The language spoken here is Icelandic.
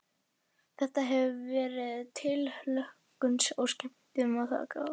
Þetta hefur verið tilhlökkun og skemmtun að taka þátt í þessu.